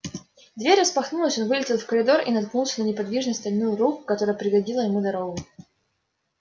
дверь распахнулась он вылетел в коридор и наткнулся на неподвижную стальную руку которая преградила ему дорогу